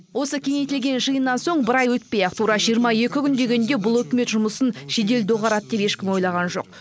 осы кеңейтілген жиыннан соң бір ай өтпей ақ тура жиырма екі күн дегенде бұл үкімет жұмысын жедел доғарады деп ешкім ойлаған жоқ